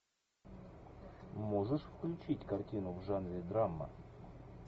можешь включить картину в жанре драма